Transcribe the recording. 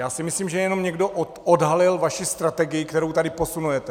Já si myslím, že jenom někdo odhalil vaši strategii, kterou tady posunujete.